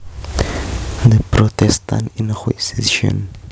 The Protestant Inquisition